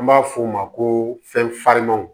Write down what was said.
An b'a f'o ma ko fɛn farimanw